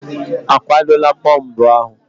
A kwadola bọmbụ ahụ?